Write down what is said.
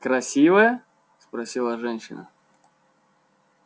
красивая спросила женщина